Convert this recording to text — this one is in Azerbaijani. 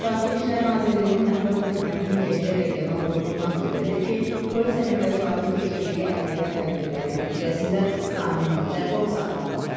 Daxili İşlər Nazirliyinin mətbuat xidmətinin Gəncə regional qrupundan bildirilib ki, polis əməkdaşlarının keçirdiyi əməliyyat tədbirləri nəticəsində Samir Nəcəfov saxlanılıb.